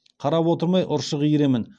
қарап отырмай ұршық иіремін